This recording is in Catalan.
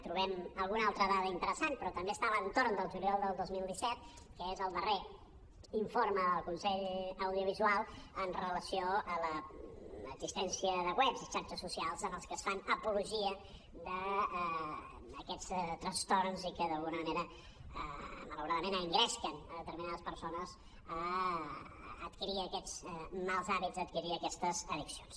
trobem alguna altra dada interessant però també està a l’entorn del juliol del dos mil disset que és el darrer informe del consell audiovisual amb relació a l’existència de webs i xarxes socials en els que es fa apologia d’aquests trastorns i que d’alguna manera malauradament engresquen determinades persones a adquirir aquests mals hàbits a adquirir aquestes addiccions